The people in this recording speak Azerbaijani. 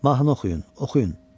Mahnı oxuyun, oxuyun.